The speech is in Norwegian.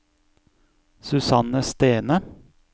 Susanne Stene